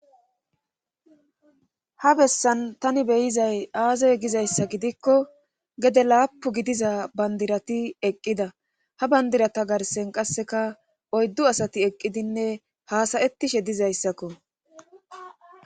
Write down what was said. Ha bessan tani beyizay aazey gizayssa gidikko gede laapu gidiza bandirati eqqida ha bandirata garsen qasseka oyddu asati eqqidinne haasayettishe dizayssakko.